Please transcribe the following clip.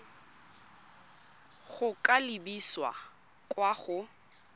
go ka lebisa kwa go